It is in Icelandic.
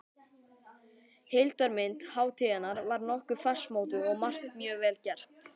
Heildarmynd hátíðarinnar var nokkuð fastmótuð og margt mjög vel gert.